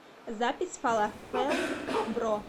запись фалафел бро